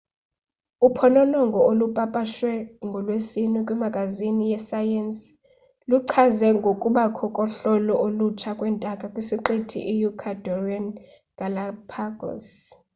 uphononongo olupapashwe ngolwesine kwimagazini yesayensi luichaze ngokubakho kohlobo olutsha lwentaka kwisiqithi i-ecuadorean galápagos